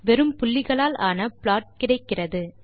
வெறும் புள்ளிகளாலான ப்லாட் கிடைக்கிறது